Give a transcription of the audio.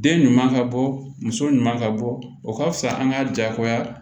Den ɲuman ka bɔ muso ɲuman ka bɔ o ka fisa an ka jaagoya